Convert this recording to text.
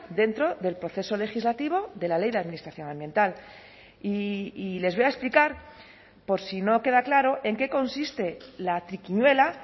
dentro del proceso legislativo de la ley de administración ambiental y les voy a explicar por si no queda claro en qué consiste la triquiñuela